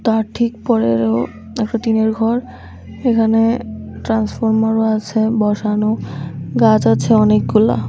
তার ঠিক পরেরও একটা টিনের ঘর এখানে ট্রান্সফরমারও আছে বসানো গাছ আছে অনেকগুলা।